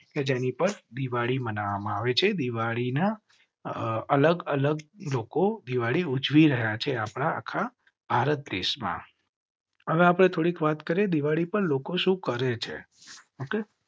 કે જેની પર દિવાળી માનવામાં આવે છે. દિવાળી ના અલગ અલગ લોકો દિવાળી ઉજવી રહ્યા છે. આપના આખા ભારત દેશ માં. હવે આપ ને થોડીક વાત કરેં. દિવાળી પર લોકો શુ કરેં છે